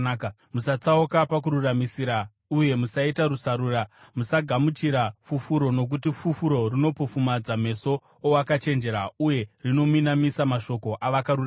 Musatsauka pakururamisira uye musaita rusarura. Musagamuchira fufuro, nokuti fufuro rinopofumadza meso owakachenjera uye rinominamisa mashoko avakarurama.